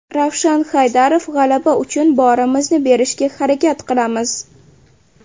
Ravshan Haydarov: G‘alaba uchun borimizni berishga harakat qilamiz.